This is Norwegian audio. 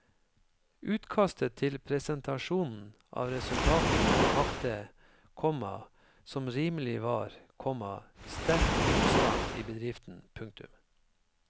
Utkastet til presentasjonen av resultatene vakte, komma som rimelig var, komma sterk motstand i bedriften. punktum